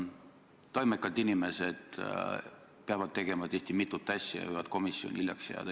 Toimekad inimesed peavad tegema tihti mitut asja ja võivad komisjoni hiljaks jääda.